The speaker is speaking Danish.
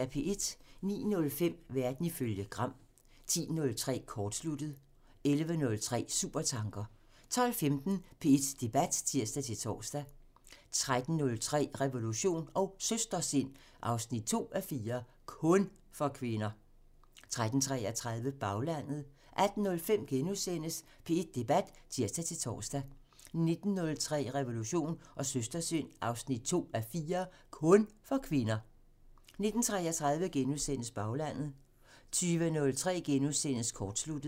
09:05: Verden ifølge Gram (tir) 10:03: Kortsluttet (tir) 11:03: Supertanker (tir) 12:15: P1 Debat (tir-tor) 13:03: Revolution & Søstersind 2:4 – KUN for kvinder! 13:33: Baglandet 18:05: P1 Debat *(tir-tor) 19:03: Revolution & Søstersind 2:4 – KUN for kvinder! 19:33: Baglandet * 20:03: Kortsluttet *(tir)